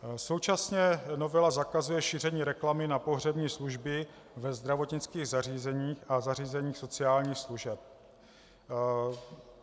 Současně novela zakazuje šíření reklamy na pohřební služby ve zdravotnických zařízeních a zařízeních sociálních služeb.